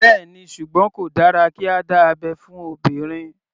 Bẹ́ẹ̀ni, ṣùgbọ́n kò dára kí a dá abẹ́ fún obìnrin.